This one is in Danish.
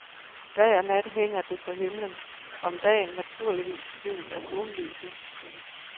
Dag og nat hænger det på himlen, om dagen naturligvis skjult af sollyset.